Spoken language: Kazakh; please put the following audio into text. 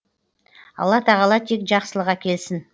алла тағала тек жақсылық әкелсін